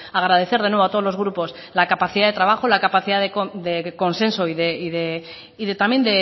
agradecer de nuevo a todos los grupos la capacidad de trabajo la capacidad de consenso y también